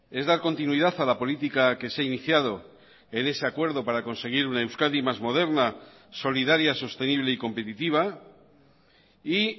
es dar continuidad a la política que se ha iniciado en ese acuerdo para conseguir una euskadi más moderna solidaria sostenible y competitiva y